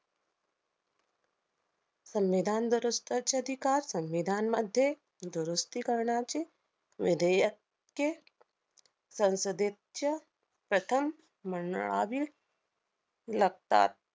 संविधान दुरस्ताचे अधिकार संविधानमध्ये दुरुस्ती करण्याचे विधेयक्के संसदेच्या प्रथम मंडाळावील लागतात.